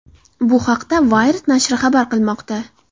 Bu haqda Wired nashri xabar qilmoqda .